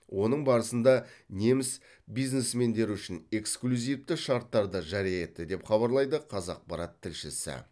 оның барысында неміс бизнесмендері үшін эксклюзивті шарттарды жария етті деп хабарлайды қазақпарат тілшісі